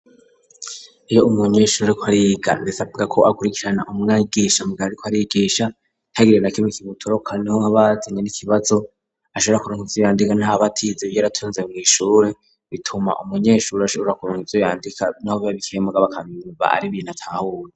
Iyo umunu eshuri kwariga bis buga ko akurikirana umwigisha mgaari ko arigisha cagirina kime kibutoroka niho abatenye n'ikibazo ashoura kurunzooyandika ntaba atizebyartunze muishure bituma umunyeshuri ashora kuronkiitzyandika niho babikemuga abakabiba ari ibintu atahuwe.